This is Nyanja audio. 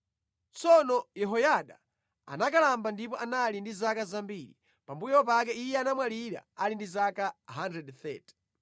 Tsono Yehoyada anakalamba ndipo anali ndi zaka zambiri. Pambuyo pake iye anamwalira ali ndi zaka 130.